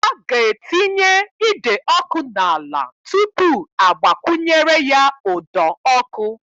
A ga-etinye ide ọkụ n'ala tupu a gbakwunyere ya ụdọ ọkụ.